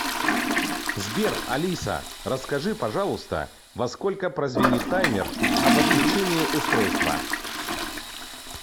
сбер алиса расскажи пожалуйста во сколько прозвенит таймер об отключении устройства